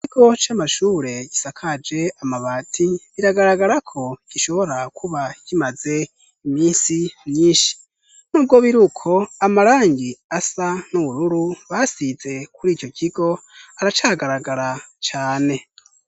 Ikigo c'amashure gisakaje amabati biragaragara ko gishobora kuba kimaze iminsi myinshi nubwo biri uko amarangi asa n'ubururu basize kuri ico kigo aracagaragara cane.